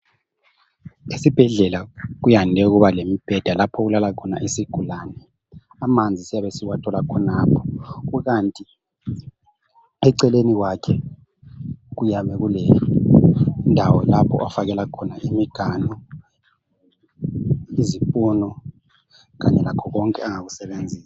Esibhedlela kuyande ukuba lemibheda lapho okuhlala khona isigulane amanzi siyabe siwathola khonapho kukanti eceleni kwakhe kuyabe kulendawo lapho ofakela khona imiganu , izipunu kanye lakho konke angakusebenzisa